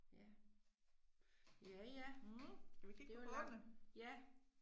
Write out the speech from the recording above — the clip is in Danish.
Ja. Ja ja. Det var lang, ja